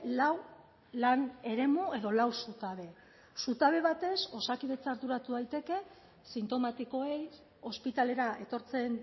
lau lan eremu edo lau zutabe zutabe batez osakidetza arduratu daiteke sintomatikoei ospitalera etortzen